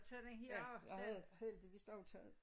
Ja jeg havde heldigvis også taget